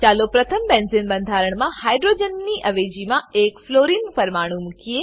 ચાલો પ્રથમ બેન્ઝીન બંધારણનાં હાઇડ્રોજનની અવેજીમાં એક ફ્લોરિન પરમાણુ મુકીએ